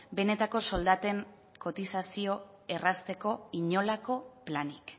benetako soldaten kotizazioa errazteko inolako planik